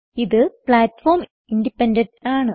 ഇത് platform independent ആണ്